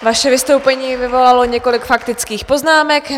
Vaše vystoupení vyvolalo několik faktických poznámek.